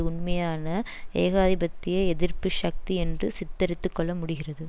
உண்மையான ஏகாதிபத்திய எதிர்ப்பு சக்தி என்று சித்திரித்துக் கொள்ள முடிகிறது